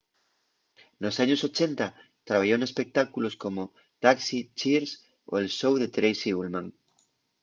nos años 80 trabayó n'espectáculos como taxi cheers o el show de tracy ullman